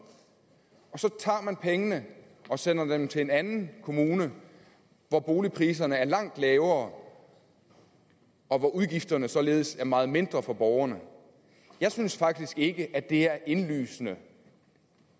og så tager man pengene og sender dem til en anden kommune hvor boligpriserne er langt lavere og hvor udgifterne således er meget mindre for borgerne jeg synes faktisk ikke at det er indlysende